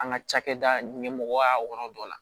An ka cakɛda ɲɛmɔgɔya yɔrɔ dɔ la